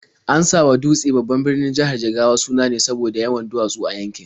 An sawa Dutse, babban birnin jihar Jigawa, suna ne saboda yawan duwatsu a yankin.